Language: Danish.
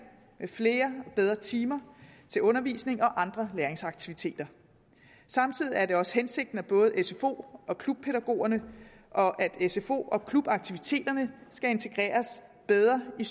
med flere og bedre timer til undervisning og andre læringsaktiviteter samtidig er det også hensigten at både sfo og klubpædagogerne og sfo og klubaktiviteterne skal integreres bedre i